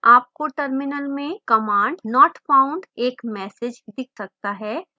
आपको terminal में command not found एक message दिख सकता है